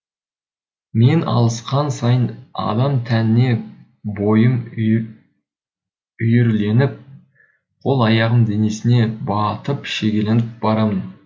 мен алысқан сайын адам тәніне бойым үйірленіп қол аяғым денесіне батып шегеленіп барамын